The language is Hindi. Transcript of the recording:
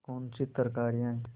कौनसी तरकारियॉँ हैं